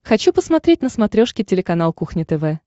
хочу посмотреть на смотрешке телеканал кухня тв